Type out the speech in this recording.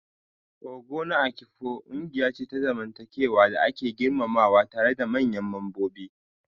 Ogo na Afikpo ƙungiya ce ta zamantakewa da ake girmamawa tare da manyan mambobi.